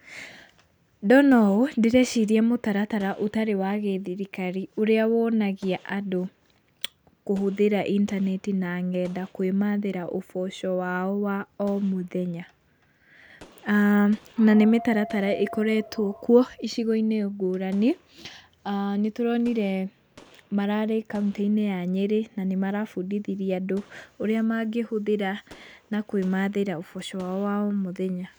Ndona ũũ, ndĩreciria mũtaratara ũtarĩ wa gĩthirikari ũrĩa wonagia andũ kũhũthĩra intaneti na ngenda kwĩmathĩra ũboco wao wa o mũthenya. Na, nĩ mĩtaratara ĩkoretwo kuo icigo-inĩ ngũrani. Nĩtũronirwe mararĩ kauntĩ-inĩ ya Nyĩrĩ na nĩmarabundithirie andũ ũrĩa mangĩhũthĩra na kwĩmathĩra ũboco wao wa o mũthenya.